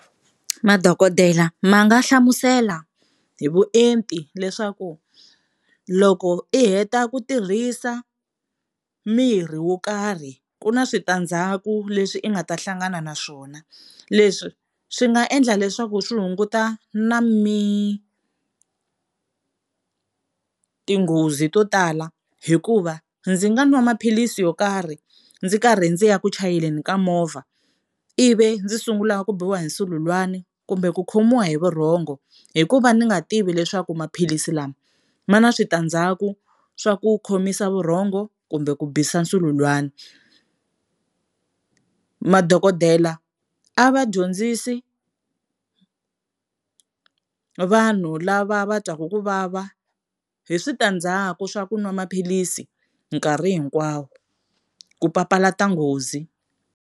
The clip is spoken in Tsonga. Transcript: Madokodela ma nga hlamusela hi vuenti leswaku loko i heta ku tirhisa murhi wo karhi ku na switandzhaku leswi i nga ta hlangana na swona. Leswi swi nga endla leswaku swi hunguta na tinghozi to tala hikuva ndzi nga nwa maphilisi yo karhi ndzi karhi ndzi ya ku chayeleni ka movha ivi ndzi sungula ku biwa hi nsululwana kumbe ku khomiwa hi vurhongo hikuva ni nga tivi leswaku maphilisi lama ma na switandzhaku swa ku khomisa vurhongo kumbe ku bisa nsululwana. Madokodela a va dyondzisi vanhu lava va twaku ku vava hi switandzhaku swa ku nwa maphilisi nkarhi hinkwawo ku papalata nghozi.